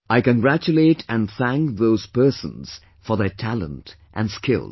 I congratulate and thank those persons for their talent and skills